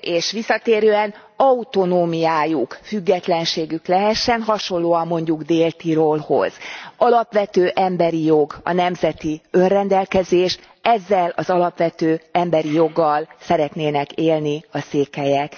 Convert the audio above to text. és visszatérően, autonómiájuk, függetlenségük lehessen, hasonlóan mondjuk Dél Tirolhoz. Alapvető emberi jog a nemzeti önrendelkezés, ezzel az alapvető emberi joggal szeretnének élni a székelyek.